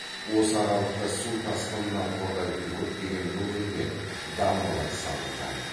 осы аралықта су тасқынынан қорғайтын көптеген бөгендер дамбалар салынған